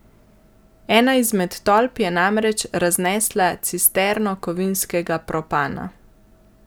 Ena izmed tolp je namreč raznesla cisterno kovinskega propana.